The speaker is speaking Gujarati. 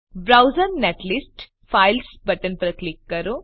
બ્રાઉઝ નેટલિસ્ટ ફાઇલ્સ બટન પર ક્લિક કરો